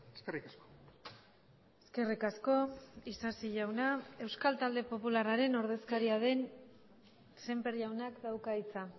eskerrik asko eskerrik asko isasi jauna euskal talde popularraren ordezkaria den sémper jaunak dauka hitza